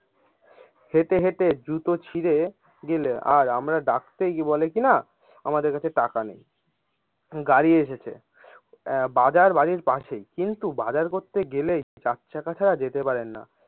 হেটে হেটে জুতো ছিড়ে গেলে আর আমরা ডাকতেই বলে কিনা আমাদের কাছে টাকা নেই, গাড়ি এসেছে বাজার বাড়ির পাশেই কিন্তু বাজার করতে গেলেই চার চাকা ছাড়া যেতে পারেননা।